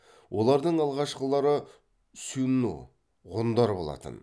олардың алғашқылары сюнну ғұндар болатын